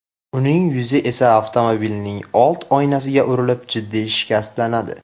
Uning yuzi esa avtomobilning old oynasiga urilib, jiddiy shikastlanadi.